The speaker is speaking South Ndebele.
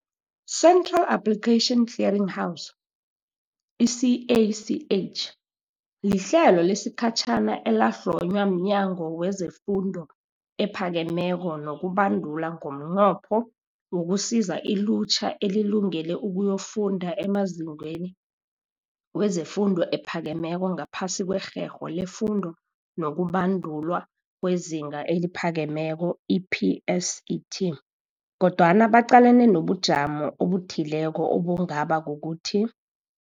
Central Application Clearing House, i-CACH, lihlelo lesikhatjhana elahlonywa mNyango wezeFundo ePhakemeko nokuBandula ngomnqopho wokusiza ilutjha elilungele ukuyokufunda emazikweni wefundo ephakemeko ngaphasi kweRherho leFundo nokuBandulwa kweZinga eliPhakemeko, i-PSET, kodwana baqalene nobujamo obuthileko obungaba kukuthi,